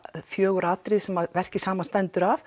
fjögur atriði sem verkið samanstendur af